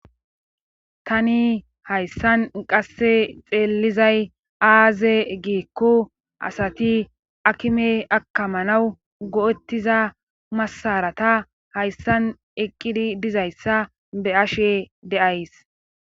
Tani hayssa qasse xeellizay aaze giikko asati akime akkamanaw go7ettiza massaraata hayssan eqqidi dizayssa be7ashe de7ays.